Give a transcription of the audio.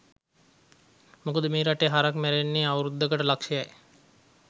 මොකද මේ රටේ හරක් මැරෙන්නේ අවුරුද්දකයට ලක්ෂ යි.